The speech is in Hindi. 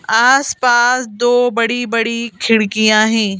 आस-पास दो बड़ी-बड़ी खिड़कियाँ हैं।